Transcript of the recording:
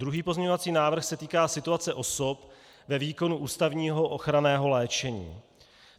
Druhý pozměňovací návrh se týká situace osob ve výkonu ústavního ochranného léčení.